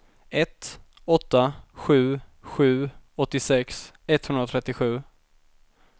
ett åtta sju sju åttiosex etthundratrettiosju